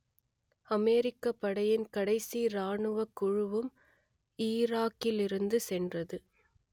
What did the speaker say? அமெரிக்கப் படையின் கடைசி ராணுவக் குழுவும் ஈராக்கிலிருந்து சென்றது